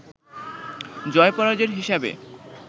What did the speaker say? জয়-পরাজয়ের হিসাবে